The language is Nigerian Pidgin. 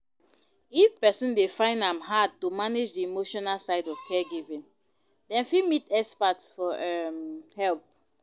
If person dey find am hard to manage di emotional side of caregiving dem fit meet expert for um help